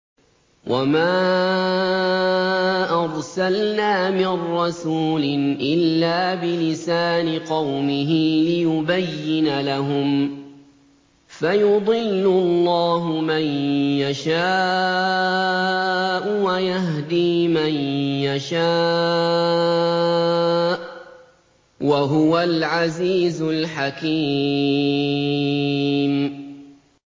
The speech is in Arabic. وَمَا أَرْسَلْنَا مِن رَّسُولٍ إِلَّا بِلِسَانِ قَوْمِهِ لِيُبَيِّنَ لَهُمْ ۖ فَيُضِلُّ اللَّهُ مَن يَشَاءُ وَيَهْدِي مَن يَشَاءُ ۚ وَهُوَ الْعَزِيزُ الْحَكِيمُ